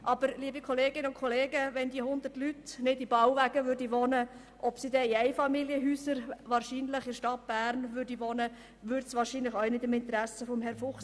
Aber liebe Kolleginnen und Kollegen, wenn die 100 Leute nicht in Bauwagen, sondern stattdessen in Einfamilienhäusern in der Stadt Bern wohnen würden, entspräche das wahrscheinlich auch nicht dem Interesse von Herrn Fuchs.